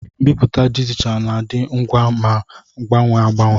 Mbipụta dijitalụ na-adị ngwa ma na-agbanwe agbanwe.